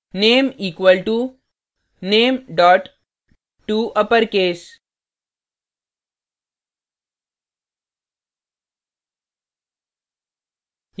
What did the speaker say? name equal to name touppercase ;